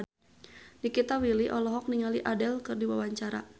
Nikita Willy olohok ningali Adele keur diwawancara